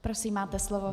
Prosím, máte slovo.